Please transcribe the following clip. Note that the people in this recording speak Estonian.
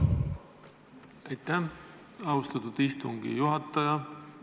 Aitäh, austatud istungi juhataja!